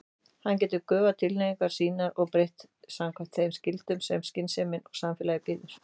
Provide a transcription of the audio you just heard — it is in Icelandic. Hann getur göfgað tilhneigingar sínar og breytt samkvæmt þeim skyldum sem skynsemin og samfélagið býður.